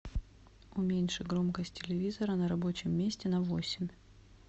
уменьши громкость телевизора на рабочем месте на восемь